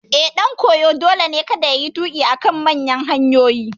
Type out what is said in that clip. Eh, ɗan koyo dole ne kada yayi tuƙi a kan manyan hanyoyi